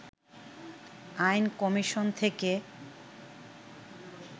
আইন কমিশন থেকে